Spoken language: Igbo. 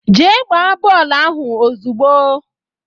Jee gbaa bọọlụ ahụ ozugbo!